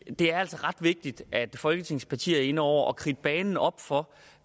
er altså ret vigtigt at folketingets partier er inde over og kridter banen op for